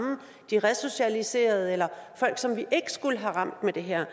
de resocialiserede eller folk som vi ikke skulle have ramt med det her